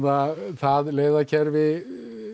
það leiðakerfi